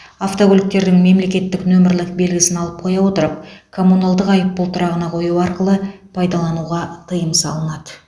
автокөліктердің мемлекеттік нөмірлік белгісін алып қоя отырып коммуналдық айыппұл тұрағына қою арқылы пайдалануға тыйым салынады